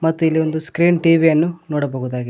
ಮತ್ತೆ ಇಲ್ಲಿ ಒಂದು ಸ್ಕ್ರೀನ್ ಟಿ_ವಿ ಯನ್ನು ನೋಡಬಹುದಾಗಿದೆ.